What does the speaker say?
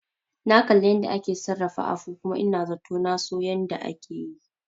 Na kalli yanda ake sarrafa afu kuma ina zato naso yanda ake yi